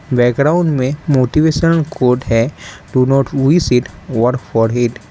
Background में motivation code है do not we seat work for it.